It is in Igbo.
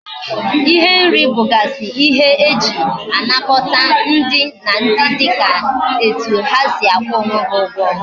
Ihe nri bugasi ihe eji anakota ndi na ndi dika etu ha si akwu onwe ha Ugwo